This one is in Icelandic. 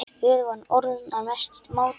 Við vorum orðnar mestu mátar.